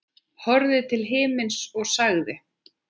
Horfði til himins og sagði: